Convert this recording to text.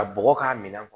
Ka bɔgɔ k'a minɛ